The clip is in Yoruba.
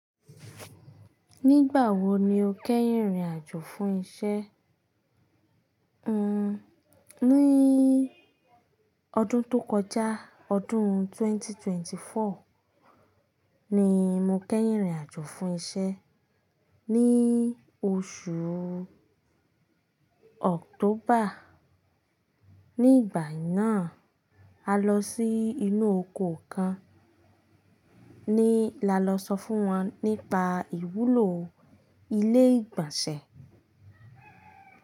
Nígbà wo ni o kẹ́yìn rìnrìn àjò fún iṣẹ́? Ní ọdún tó kọjá, ọdún 2024 ni mo kẹ́yìn rìnrìn àjò fún iṣẹ́ ní oṣù October. Ní ìgbà náà, a lọ sí inú oko kan ni a lọ sọ fún wọn nípa ìwúlò ilé ìgbọ̀nsẹ̀.